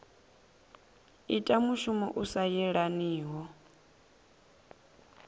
ita mushumo u sa yelaniho